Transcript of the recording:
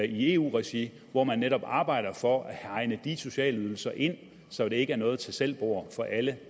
i eu regi hvor man netop arbejder for at hegne de sociale ydelser ind så det ikke er noget tag selv bord for alle